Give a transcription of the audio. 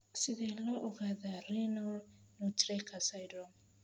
Sidee loo ogaadaa Renal nutcracker syndrome?